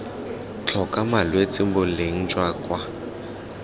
tlhoka malwetse boleng jwa kwa